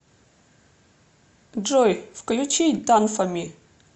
джой включи дан фо ми